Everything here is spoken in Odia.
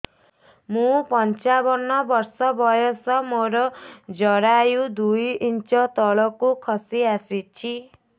ମୁଁ ପଞ୍ଚାବନ ବର୍ଷ ବୟସ ମୋର ଜରାୟୁ ଦୁଇ ଇଞ୍ଚ ତଳକୁ ଖସି ଆସିଛି